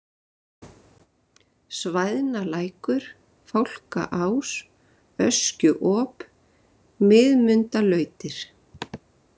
Svæðnalækur, Fálkaás, Öskjuop, Miðmundalautir